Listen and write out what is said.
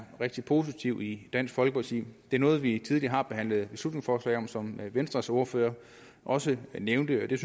rigtig positiv i dansk folkeparti det er noget vi tidligere har behandlet beslutningsforslag om sådan som venstres ordfører også nævnte det